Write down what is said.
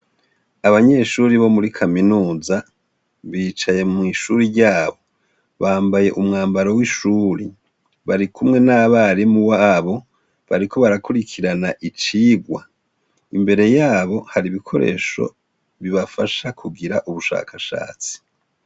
Abanyeshuri bo muri kaminuza bicaye mw'ishuri ryabo bambaye umwambaro w'ishuri bari kumwe n'abarimu babo bariko barakurikirana icigwa imbere yabo hari ibikoresho bibafasha kugira ubushakashatsi.